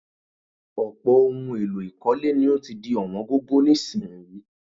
Ọ̀pọ̀ ohun èlò ìkọ́lé ni ó ti di ọ̀wọ́n gógó nísìnyií